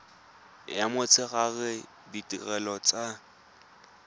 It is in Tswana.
ya motshegare le ditirelo tsa